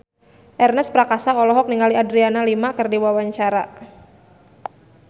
Ernest Prakasa olohok ningali Adriana Lima keur diwawancara